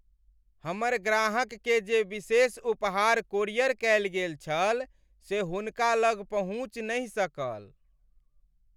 हमर ग्राहककेँ जे विशेष उपहार कोरियर कयल गेल छल से हुनका लग पहुँचि नहि सकल।